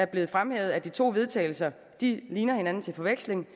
blevet fremhævet at de to vedtagelse ligner hinanden til forveksling